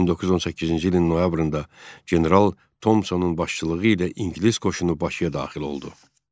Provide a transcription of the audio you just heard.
1918-ci ilin noyabrında general Tomsonun başçılığı ilə ingilis qoşunu Bakıya daxil oldu.